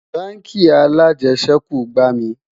bánkì alàjesèkú gbà mí